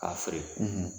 K'a feere